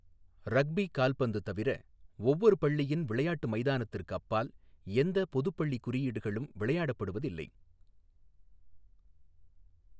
Rugby கால்பந்து தவிர, ஒவ்வொரு பள்ளியின் விளையாட்டு மைதானத்திற்கு அப்பால் எந்த பொதுப் பள்ளி குறியீடுகளும் விளையாடப்படுவதில்லை.